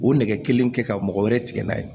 O nɛgɛ kelen kɛ ka mɔgɔ wɛrɛ tigɛ n'a ye